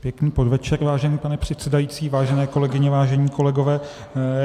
Pěkný podvečer, vážený pane předsedající, vážené kolegyně, vážení kolegové.